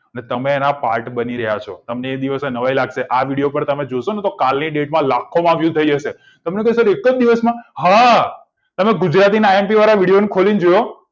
તમે એના પાઠ બની રહ્યા છો તમને એ દિવસે નવાઈ લાગશે આ video તમે જોશો તો કાલની date માં લાખો યુધમાં થઇ જશે સર એક દિવસમાં હા તમે ગુજરાતી આઈ એમ પી વાળા video ખોલી જુઓ